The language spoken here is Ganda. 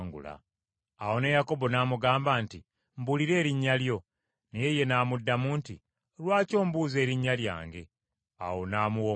Awo ne Yakobo n’amugamba nti, “Mbuulira erinnya lyo.” Naye ye n’amuddamu nti, “Lwaki ombuuza erinnya lyange?” Awo n’amuwa omukisa.